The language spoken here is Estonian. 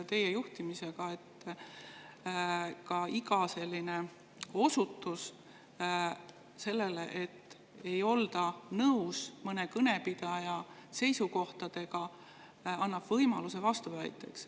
Teie juhtimise ajal on juhtunud nii, et iga osutus sellele, et ei olda nõus mõne kõnepidaja seisukohtadega, annab võimaluse vastuväiteks.